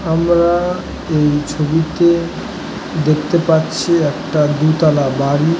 আমরা এই ছবিতে দেখতে পাচ্ছি একটা দুতলা বাড়ি |